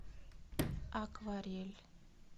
акварель